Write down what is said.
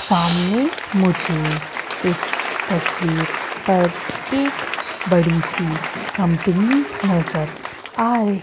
सामने मुझे इस तस्वीर पर एक बड़ी सी कंपनी नजर आ र--